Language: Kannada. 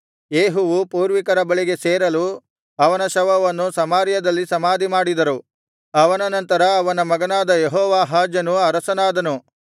ಯೇಹುವು ಪೂರ್ವಿಕರ ಬಳಿಗೆ ಸೇರಲು ಅವನ ಶವವನ್ನು ಸಮಾರ್ಯದಲ್ಲಿ ಸಮಾಧಿಮಾಡಿದರು ಅವನ ನಂತರ ಅವನ ಮಗನಾದ ಯೆಹೋವಾಹಾಜನು ಅರಸನಾದನು